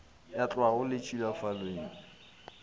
ya tlhago le tšhilafalo ye